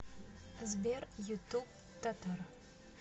сбер ютуб татар